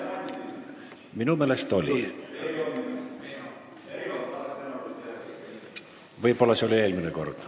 Minu meelest oli, aga võib-olla oli eelmine kord.